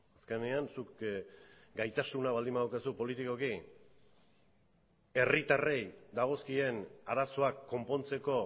azkenean zuk gaitasuna baldin badaukazu politikoki herritarrei dagozkien arazoak konpontzeko